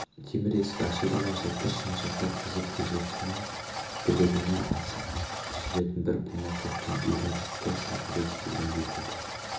темір есік ашылды ма жылтыр шынжырға тізіп күзетшінің білегіне асып жүретін бір бума кілттің үйреншікті сылдыры естілгендей болды